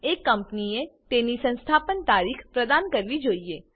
એક કંપનીએ તેની સંસ્થાપન તારીખ પ્રદાન કરવી જોઈએ